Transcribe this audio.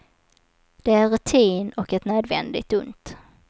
Det är rutin och ett nödvändigt ont.